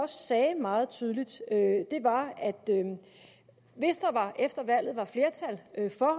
sagde meget tydeligt var at hvis der efter valget var flertal